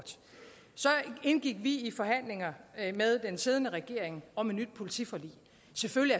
så indgik vi i forhandlinger med den siddende regering om et nyt politiforlig selvfølgelig